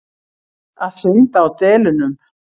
Að synda á delunum.